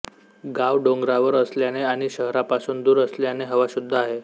गाव डोंगरावर असल्याने आणि शहरापासून दूर असल्याने हवा शुद्ध आहे